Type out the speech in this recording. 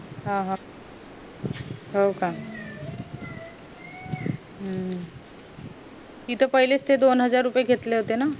हम्म हम्म हो का हम्म तिथे पहिले च ते दोन हजार रुपये घेतले होते ना